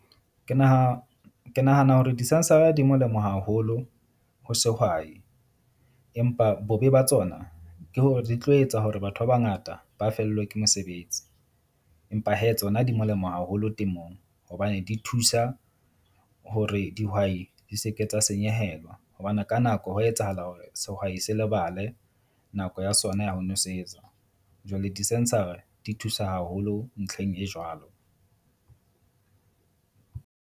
Ke ke nahana hore di-sensor-a di molemo haholo ho sehwai, empa bobe ba tsona ke hore di tlo etsa hore batho ba bangata ba fellwe ke mosebetsi. Empa hee tsona di molemo haholo temong hobane di thusa hore dihwai di se ke tsa senyehelwa. Hobane ka nako hwa etsahala hore sehwai se lebale nako ya sona ya ho nwesetsa. Jwale di-sensor-a di thusa haholo ntlheng e jwalo.